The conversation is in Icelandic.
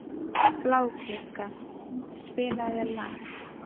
Bláklukka, spilaðu lag.